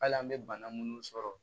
Hali an bɛ bana munnu sɔrɔ